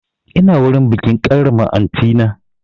Ina wurin bikin karrama aunty na